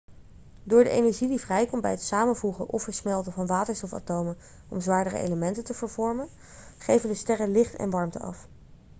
door de energie die vrijkomt bij het samenvoegen of versmelten van waterstofatomen om zwaardere elementen te vormen geven de sterren licht en warmte af